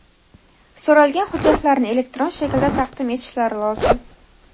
so‘ralgan hujjatlarni elektron shaklda taqdim etishlari lozim.